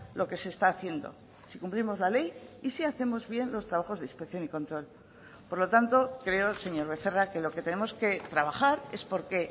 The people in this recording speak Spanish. lo que se está haciendo si cumplimos la ley y si hacemos bien los trabajos de inspección y control por lo tanto creo señor becerra que lo que tenemos que trabajar es porque